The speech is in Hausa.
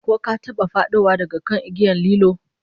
Ko ka taba fadowa daga kan igiyar lilo?